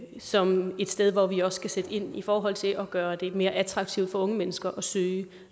som et sted hvor vi også skal sætte ind i forhold til at gøre det mere attraktivt for unge mennesker at søge